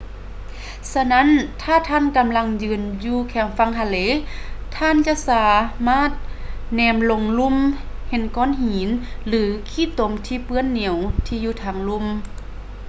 ສະນັ້ນ ຖ້າທ່ານກຳລັງຢືນຢູ່ແຄມຝັ່ງທະເລ ທ່ານຈະສາມາດແນມລົງລຸ່ມເຫັນກ້ອນຫີນ ຫຼື ຂີ້ຕົມທີ່ເປື້ອນໜຽວທີ່ຢູ່ທາງລຸ່ມ